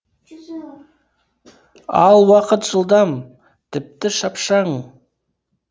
ал уақыт жылдам тіпті шапшаң